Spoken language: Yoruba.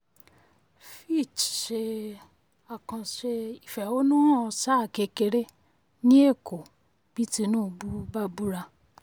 fitch um ṣe àkànṣe ìfẹ̀hónúhàn sáà kékeré ní èkó bí tinubu bá búra.